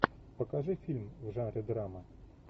покажи фильм в жанре драма